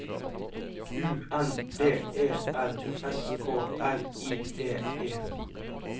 U N D E R S K R I V E